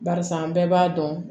Barisa an bɛɛ b'a dɔn